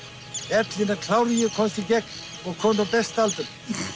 ellina klár ég komst í gegn og kominn á besta aldur